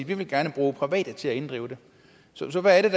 vi vil gerne bruge private til at inddrive det så så hvad er